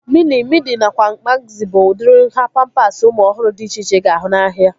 Mini, midi nakwa magzi bụ udiri nhá pampasi ụmụ ọhụrụ dị iche iche ị ga-ahụ n'ahia